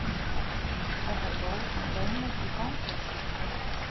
Verða lóð bönnuð í fangelsum